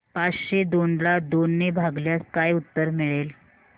पाचशे दोन ला दोन ने भागल्यास काय उत्तर मिळेल